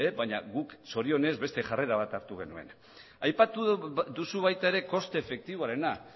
baina guk zorionez beste jarrera bat hartu genuen aipatu duzu baita ere koste efektiboarena